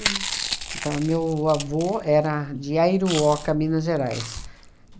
Então, meu avô era de Aiuruoca, Minas Gerais.